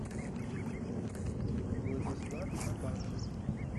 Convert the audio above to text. владислав абашин